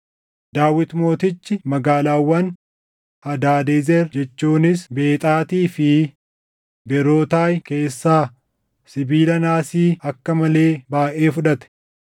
Daawit Mootichi magaalaawwan Hadaadezer jechuunis Bexaatii fi Beerootaay keessaa sibiila naasii akka malee baayʼee fudhate.